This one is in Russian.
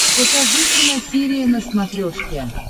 покажи киносерия на смотрешке